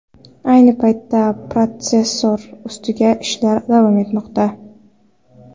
Ayni paytda protsessor ustidagi ishlar davom etmoqda.